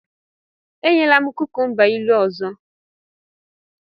Enyela m kukumba ilu ọzọ!